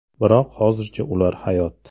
Biroq hozircha ular hayot.